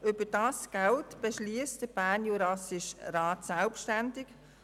Über dieses Geld bestimmt der Bernjurassische Rat selbstständig.